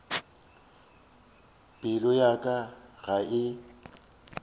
pelo ya ka ga e